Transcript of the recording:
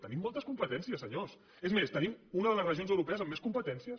tenim moltes competències senyors és més tenim una de les regions europees amb més competències